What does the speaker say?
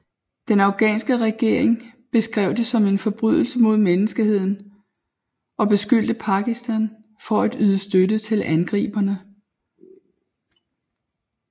Den afghanske regering beskrev det som en forbrydelse mod menneskeheden og beskyldte Pakistan for at yde støtte til angriberne